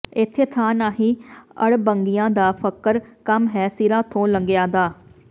ਏਥੇ ਥਾਂ ਨਾਹੀਂ ਅੜਬੰਗਿਆਂ ਦਾ ਫਕਰ ਕੰਮ ਹੈ ਸਿਰਾਂ ਥੋਂ ਲੰਘਿਆਂ ਦਾ